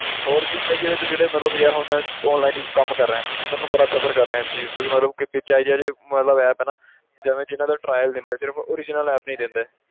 ਹੋਰ ਵੀ ਕਈ ਇਹਦੇ 'ਚ ਜਿਹੜੇ ਯਾਰ ਹੁਣ ਮੈਂ online ਕੰਮ ਕਰ ਰਿਹਾਂ ਤਾਂ ਮੈਂ ਬੜਾ suffer ਕਰ ਰਿਹਾਂ ਇਸ ਚੀਜ਼ ਤੋਂ ਕਿ ਮਤਲਬ ਕਿ ਵਿੱਚ ਇਹ ਜਿਹੇ ਇਹ ਜਿਹੇ ਮਤਲਬ app ਹੈ ਨਾ ਜਿਵੇਂ ਜਿੰਨਾਂ ਦਾ trial ਦਿੰਦੇ ਆ ਸਿਰਫ਼ original app ਨੀ ਦਿੰਦੇ,